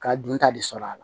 Ka dunta de sɔr'a la